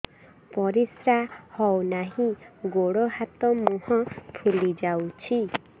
ପରିସ୍ରା ହଉ ନାହିଁ ଗୋଡ଼ ହାତ ମୁହଁ ଫୁଲି ଯାଉଛି